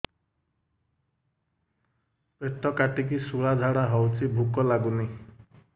ପେଟ କାଟିକି ଶୂଳା ଝାଡ଼ା ହଉଚି ଭୁକ ଲାଗୁନି